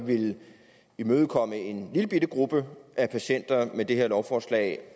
villet imødekomme en lillebitte gruppe patienter med det her lovforslag